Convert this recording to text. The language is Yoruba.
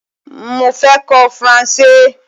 Mo fẹ́ kọ́ Faransé